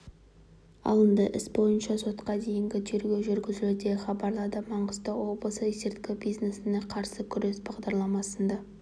алынды іс бойынша сотқа дейінгі тергеу жүргізілуде хабарлады маңғыстау облысы есірткі бизнесіне қарсы күрес басқармасында